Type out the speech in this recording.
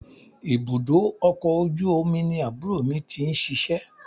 Ibùdó ọkọ̀ ojú omi ni àbúrò mi ti ń ṣíṣe.